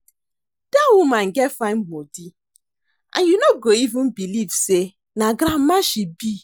Dat woman get fine body and you no go even believe say na grandma she be